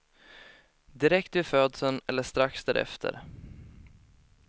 Direkt vid födseln eller strax därefter.